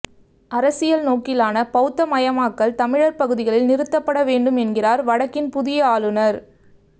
அரசியல் நோக்கிலான பௌத்த மயமாக்கல் தமிழர் பகுதிகளில் நிறுத்தப்பட வேண்டும் என்கிறார் வடக்கின் புதிய ஆளுநர்